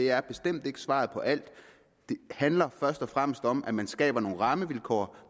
er bestemt ikke svaret på alt det handler først og fremmest om at man skaber nogle rammevilkår